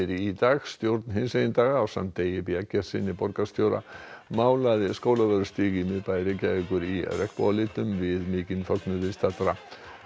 í dag stjórn hinsegin daga ásamt Degi b Eggertssyni borgarstjóra málaði tilefni Skólavörðustíg í miðbæ Reykjavíkur í við mikinn fögnuð viðstaddra